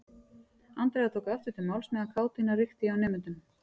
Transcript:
Andrea tók aftur til máls á meðan kátínan ríkti hjá nemendunum.